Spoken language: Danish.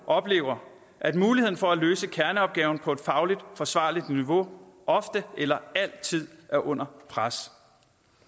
oplever at muligheden for at løse kerneopgaven på et fagligt forsvarligt niveau ofte eller altid er under pres